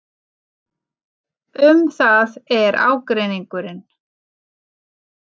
Um það er ágreiningurinn.